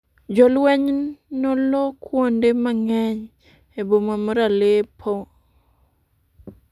Jolweny nolo kuonde mang’eny e boma mar Aleppo